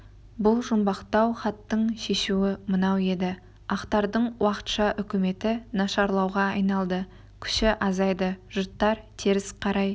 бұл жұмбақтау хаттың шешуі мынау еді ақтардың уақытша үкіметі нашарлауға айналды күші азайды жұрт теріс қарай